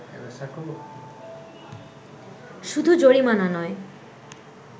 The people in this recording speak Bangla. শুধু জরিমানা নয়